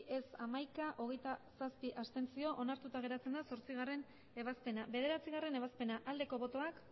ez hamaika abstentzioak hogeita zazpi onartuta geratzen da zortzigarrena ebazpena bederatzigarrena ebazpena aldeko botoak